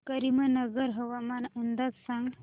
करीमनगर हवामान अंदाज सांग